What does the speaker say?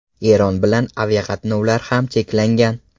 Eron bilan aviaqatnovlar ham cheklangan.